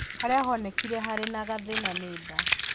Harĩa honekire harĩ na gathĩna nĩ nda